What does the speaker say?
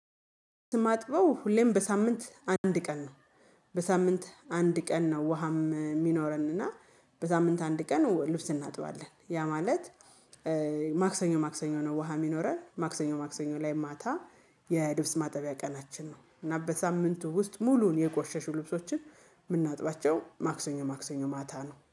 ልብስ ማጥበው ሁሌም በሳምንት አንድ ቀን ነው። በሳምንት አንድ ቀን ነው። ውሃም የሚኖረን እና በሳምንት አንድ ቀን ልብስ እናጥባለን ያ ማለት ማክሰኞ ማክሰኞ ነው። ውሃ የሚኖረን ማክሰኞ ማክሰኞ ላይ ማታ የልብስ ማጠቢያ ቀናችን ነው። እና በሳምንቱ ውስጥ ሙሉውን የቆሸሹ ልብሶችን የምናጥባቸው ማክሰኞ ማክሰኞ ማታ ነው